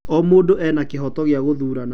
O mũndũ ena kĩhooto gĩa gũthurana.